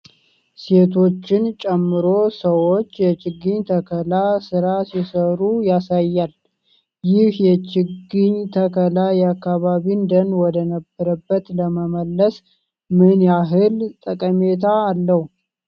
ሴቶችን ጨምሮ ሰዎች የችግኝ ተከላ ስራ ሲሰሩ ያሳያል። ይህ ችግኝ ተከላ የአካባቢን ደን ወደ ነበረበት ለመመለስ ምን ያህል ጠቀሜታ አለው?